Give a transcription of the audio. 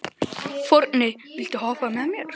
Forni, viltu hoppa með mér?